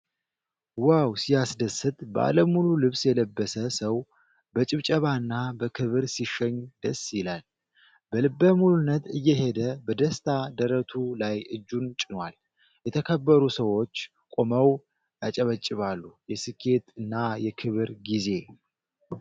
ዋው! ሲያስደስት! ባለ ሙሉ ልብስ የለበሰ ሰው በጭብጨባና በክብር ሲሸኝ ደስ ይላል! በልበ ሙሉነት እየሄደ በደስታ ደረቱ ላይ እጁን ጭኗል። የተከበሩ ሰዎች ቆመው ያጨበጭባሉ። የስኬት እና የክብር ጊዜ!